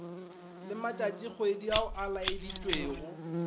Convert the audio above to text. le matšatšikgwedi ao a laeditšwego